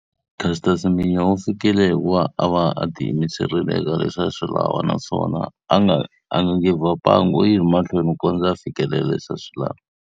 Caster Semenya u fikile hi ku va a va a tiyimiserile eka leswi a swi lava naswona a nga a nga give up-angi, u yi ri mahlweni ku kondza a fikelela leswi a swi lava.